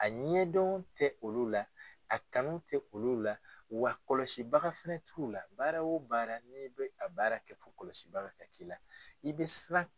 A ɲɛdɔn olu la a kanu tɛ olu la wa kɔlɔsibaga fana t'u lala baara wo baara n'i bɛ a baara kɛ fɔ kɔlɔsibaga ka k'i la i bɛ siran.